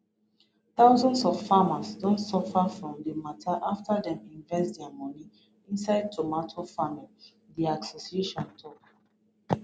thousands of farmers don suffer from dis mata afta dem invest dia money inside tomato farming di association tok